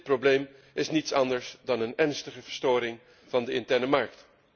Dit probleem is niets anders dan een ernstige verstoring van de interne markt.